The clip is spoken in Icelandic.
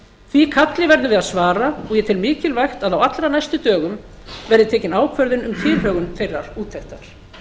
því kalli verðum við að svara og ég tel mikilvægt að á allra næstu dögum verði tekin ákvörðun um tilhögun þeirrar úttektar